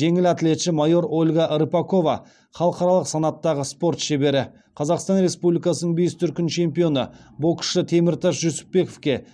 жеңіл атлетші майор ольга рыпакова халықаралық санаттағы спорт шебері қазақстан республикасының бес дүркін чемпионы боксшы теміртас жүсіпбековке